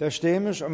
der stemmes om